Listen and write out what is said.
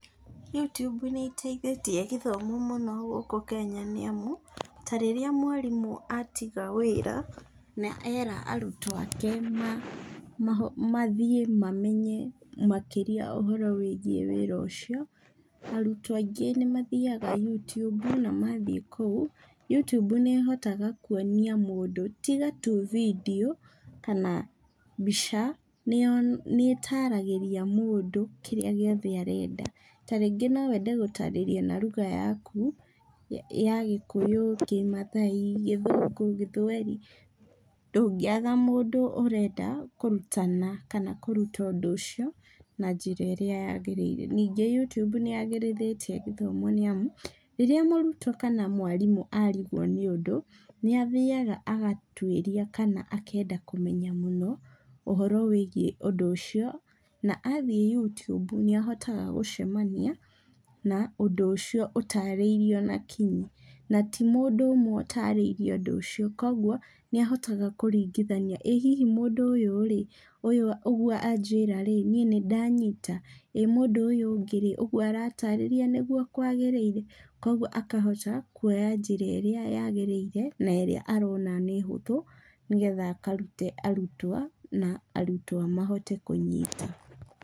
Youtube nĩĩteithĩtie gĩthomo mũno gũkũ Kenya nĩamu, ta rĩrĩa mwarimũ atiga wĩra na era arutwo ake mathiĩ mamenya makĩria ũhoro wĩgiĩ wĩra ũcio, arutwo aingĩ nĩmathiaga Youtube, na mathiĩ kũu, Youtube nĩĩhotaga kuonia mũndũ tiga tu vidiũ kana mbica, nĩyo nĩĩtaragĩria mũndũ kĩrĩa gĩothe arenda. Ta rĩngĩ no wende gũtarĩrio na lugha yaku ya Gĩkũyũ, Kĩmaathai, Gĩthũngũ, Gĩthweri, ndũngĩaga mũndũ ũrenda kũrutana kana kũrutwo ũndũ ũcio na njĩra ĩrĩa agĩrĩire. Ningĩ Youtube nĩyagĩrithĩtie gĩthomo nĩamu, rĩrĩa mũrutwo kana mwarimũ arigwo nĩ ũndũ, nĩathiaga agatuĩria kana akenda kũmenya mũno, ũhoro wĩgiĩ ũndũ ũcio, na athiĩ Youtube nĩahotga gũcemania na ũndũ ũcio ũtarĩirio na kinyi. Na, ti mũndũ ũmwe ũtarĩirie ũndũ ũcio, kuoguo nĩahotaga kũruingithania ĩ hihi mũndũ ũyũ-rĩ, ũyũ ũguo anjĩra-rĩ, niĩ nĩndanyita? Ĩ mũndũ ũyũ ũngĩ-rĩ, ũguo aratarĩria nĩguo kwagĩrĩire? Kuoguo akahota kuoya njĩra ĩrĩa yagĩrĩire na ĩrĩa arona nĩ hũthũ, nĩgetha akarute arutwa na arutwa mahote kũnyita.